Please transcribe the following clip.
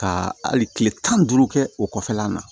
Ka hali kile tan ni duuru kɛ o kɔfɛla na